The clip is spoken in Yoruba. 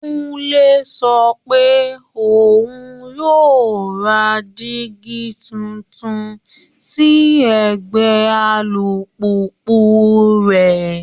Kúnlé sọ pé òun yóò ra dígí tuntun sí ẹ̀gbẹ́ alùpùpù rẹ̀